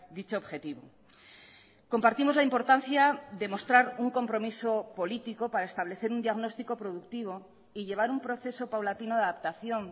dicho objetivo compartimos la importancia de mostrar un compromiso político para establecer un diagnóstico productivo y llevar un proceso paulatino de adaptación